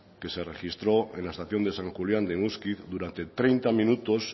que se registró en la estación de san julián de muskiz durante treinta minutos